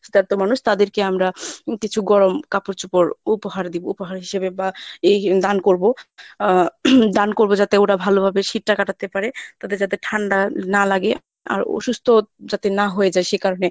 শীতার্থ মানুষ আছে তাদেরকে আমরা কিছু গরম কাপড় চোপড় উপহার দিব উপহার হিসেবে বা এই দান করবো আহ দান করবো যাতে ওরা ভালোভাবে শীতটা কাটাতে পারে, তাদের যাতে ঠান্ডা না লাগে আর অসুস্থ যাতে না হয়ে যায়